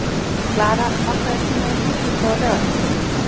Klara, pantaðu tíma í klippingu á laugardaginn.